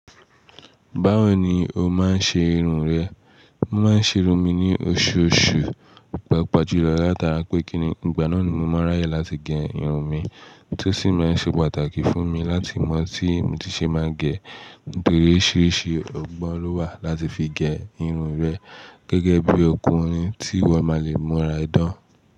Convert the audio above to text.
Báwo ni o máa ń ṣe irun rẹ? Mo máa ń ṣe irun mi ní oṣooṣù, paapaa julọ látara pé kíni ìgbà náà ni mo máa ráyè láti gé irun mi tó sì máa ń ṣe pàtàkì fún mi láti mọ tí mo ti ṣe máa gẹ̀. Nítorí oríṣiríṣi ọgbọ́n ló wà láti fi gé irun rẹ gẹ́gẹ́ bí ọkùnrin tí wọn máa le múra idán.